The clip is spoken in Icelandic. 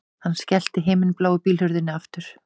Hann skellti himinbláu bílhurðinni aftur